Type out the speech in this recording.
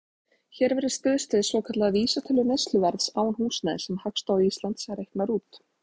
Hér verður stuðst við svokallaða vísitölu neysluverðs án húsnæðis, sem Hagstofa Íslands reiknar út.